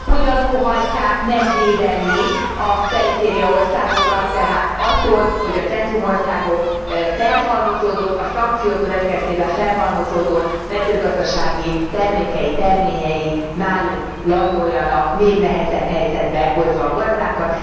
Hogyan óhajtják megvédeni a perifériaországokat tehát attól, hogy a centrumországok szankciók következtében felhalmozódott mezőgazdasági termékei, terményei náluk landoljanak, még nehezebb helyzetbe hozva a gazdákat.